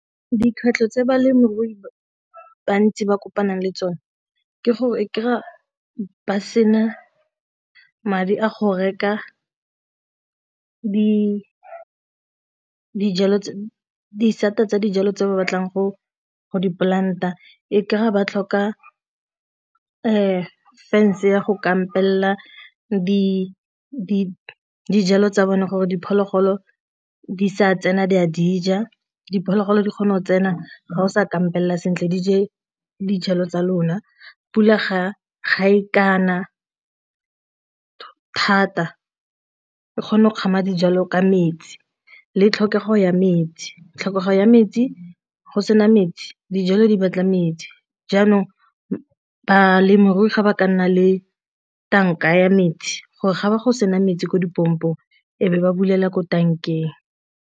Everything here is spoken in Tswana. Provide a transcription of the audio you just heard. Dikgwetlho tse balemirui ba bantsi ba kopanang le tsone ke gore e kry-a ba sena madi a go reka disata tsa dijalo tse ba batlang go di-plant-a e ka re ba tlhoka fence ya go kampela dijalo tsa bone gore diphologolo di sa tsena di a dija, diphologolo di kgone go tsena ga o sa kampela sentle di je dijalo tsa lona. Pula ga e ka na thata e kgona go kgama dijalo ka metsi, le tlhokego ya metsi tlhokego ya metsi go sena metsi dijalo di batla metsi jaanong balemirui ga ba ka nna le tanka ya metsi gore ga ba go sena metsi ko pompong e be ba bulela ko tankeng.